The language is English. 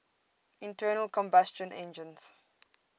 internal combustion engines